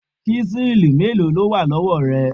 Ṣísẹ́ẹ̀lì mélòó ló wà lọ́wọ́ rẹ?